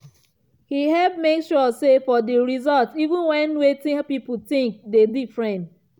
he help make sure say for di insult even when wetin people think dey difference.